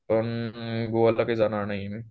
पण गोव्याला काय जाणार नाहीये मी